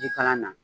Jikalan na